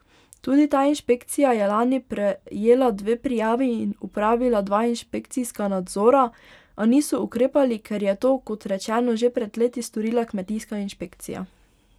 Tudi ta inšpekcija je lani prejela dve prijavi in opravila dva inšpekcijska nadzora, a niso ukrepali, ker je to, kot rečeno, že pred leti storila kmetijska inšpekcija.